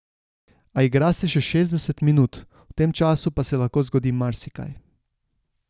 A igra se še šestdeset minut, v tem času pa se lahko zgodi marsikaj.